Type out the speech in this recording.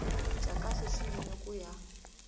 bya kahle swinene ku ya